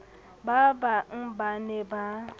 ba bang ba ne ba